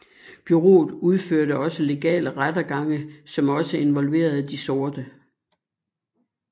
Bureauet udførte også legale rettergange som også involverede de sorte